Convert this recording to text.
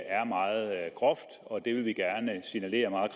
er meget groft og det vil vi gerne signalere meget